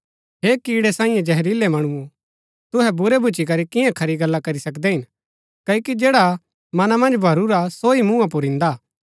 हे कीड़ै सांईये जहरीलै मणुओ तुहै बुरै भूच्ची करी किआं खरी गल्ला करी सकदै हिन क्ओकि जैडा मना मन्ज भरूरा सो ही मुँहा पुर इन्दा हा